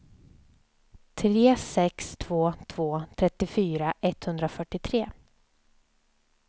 tre sex två två trettiofyra etthundrafyrtiotre